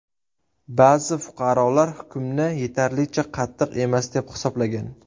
Ba’zi fuqarolar hukmni yetarlicha qattiq emas, deb hisoblagan.